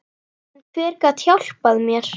En hver gat hjálpað mér?